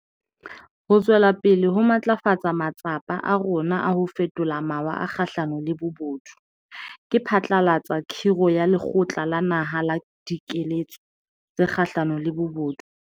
Ho tswela pele ho matlafatsa matsapa a rona a ho fetola mawa a kgahlano le bobodu, ke phatlalatsa khiro ya Lekgotla la Naha la Dikeletso tse Kgahlano le Bobodu.